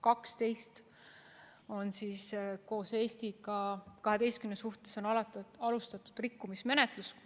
12 riiki, sh Eesti, on need, kelle suhtes on alustatud rikkumismenetlust.